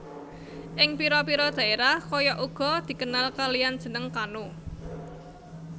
Ing pira pira daerah kayak uga dikenal kalian jeneng kano